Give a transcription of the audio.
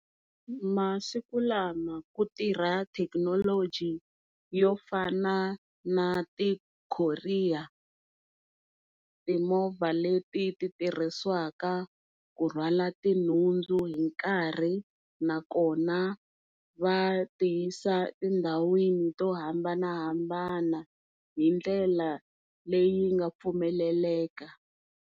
Masikulama ku tirha thekinoloji yo fana na ti courier, timovha leti tirhisiwaka ku rhwala tinhundzu hi nkarhi nakona va ti yisa tindhawini to hambanahambana hi ndlela leyi nga pfumeleleka.